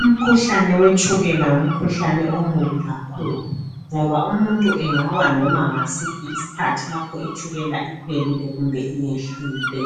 Umkhuhlane wetshukela ngumkhuhlane omubi kakhulu ngoba umuntu engawa noma ngasiphi isikhathi itshukela ikhwelile kumbe iyehlile